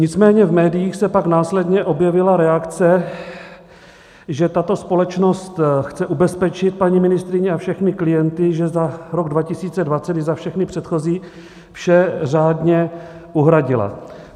Nicméně v médiích se pak následně objevila reakce, že tato společnost chce ubezpečit paní ministryni a všechny klienty, že za rok 2020 i za všechny předchozí vše řádně uhradila.